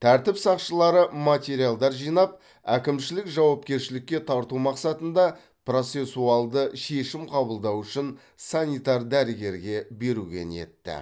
тәртіп сақшылары материалдар жинап әкімшілік жауапкершілікке тарту мақсатында процессуалды шешім қабылдау үшін санитар дәрігерге беруге ниетті